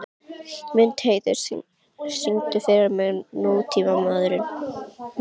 Mundheiður, syngdu fyrir mig „Nútímamaður“.